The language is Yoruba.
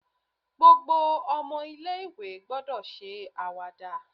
Gbogbo omo ilé ìwé gbọ́dọ̀ ṣe àwàdà